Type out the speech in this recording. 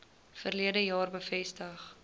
verlede jaar bevestig